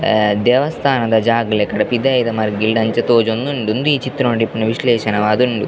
ಆ ದೇವಸ್ಥಾನದ ಜಾಗ್ ಲೆಕಡ್ ಪಿದಾಯಿದ ಮರ್ಗಿಲ್ಡ್ ಅಂಚ ತೋಜೊಂದುಂಡು ಉಂದು ಈ ಚಿತ್ರಣೊಡು ಇಪ್ಪುನ ವಿಶ್ಲೇಷನವಾದ್ ಉಂಡು.